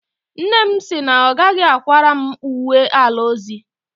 Nne m sị na ọ gaghị akwara m uwe ala ọzọ.